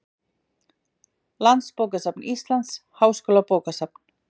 Landsbókasafn Íslands, Háskólabókasafn.